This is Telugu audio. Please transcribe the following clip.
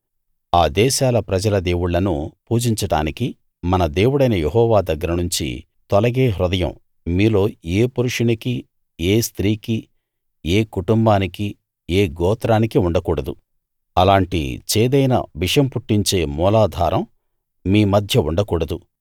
ఆ దేశాల ప్రజల దేవుళ్ళను పూజించడానికి మన దేవుడైన యెహోవా దగ్గర నుంచి తొలగే హృదయం మీలో ఏ పురుషునికీ ఏ స్త్రీకీ ఏ కుటుంబానికీ ఏ గోత్రానికీ ఉండకూడదు అలాంటి చేదైన విషం పుట్టించే మూలాధారం మీమధ్య ఉండకూడదు